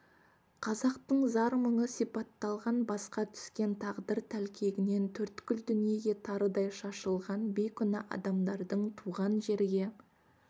қазақтың зар-мұңы сипатталған басқа түскен тағдыр тәлкегінен төрткүл дүниеге тарыдай шашылған бейкүнә адамдардың туған жерге